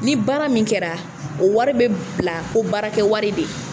Ni baara min kɛra o wari bɛ bila ko baara kɛ wari de.